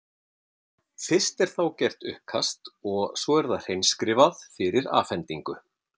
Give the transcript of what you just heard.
Fyrst er þá gert uppkast og svo er það hreinskrifað fyrir afhendingu.